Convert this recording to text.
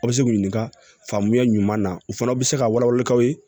A bɛ se k'u ɲininka faamuya ɲuman na u fana bɛ se ka wala wala k'aw ye